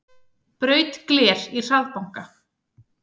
Braut gler í hraðbanka